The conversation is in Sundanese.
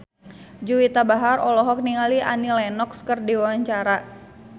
Juwita Bahar olohok ningali Annie Lenox keur diwawancara